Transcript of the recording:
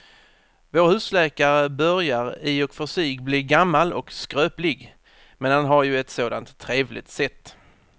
Vår husläkare börjar i och för sig bli gammal och skröplig, men han har ju ett sådant trevligt sätt!